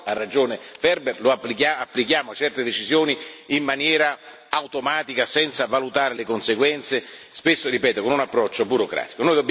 Purtroppo, ha ragione Ferber, applichiamo certe decisioni in maniera automatica, senza valutare le conseguenze spesso, ripeto, con un approccio burocratico.